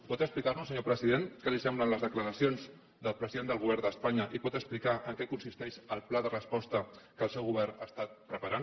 pot explicarnos senyor president què li semblen les declaracions del president del govern d’espanya i pot explicar en què consisteix el pla de resposta que el seu govern ha estat preparant